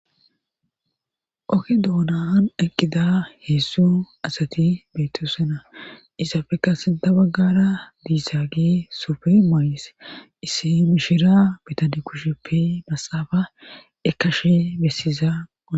Okke doonaan aqqida heessu asati beetosena isafekka sinta baggara diissaage sopfe mayis isse mishira bitani kusheppe masafa ekashe bessiza na.